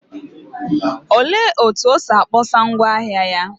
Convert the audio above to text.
Olee otú o si kpọsa ngwá ahịa ya?